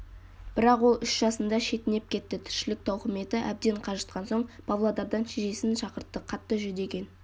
бірақ ол үш жасында шетінеп кетті тіршілік тауқыметі әбден қажытқан соң павлодардан шешесін шақыртты қатты жүдеген